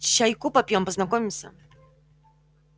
чайку попьём познакомимся